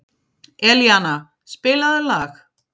Elíana, spilaðu lag.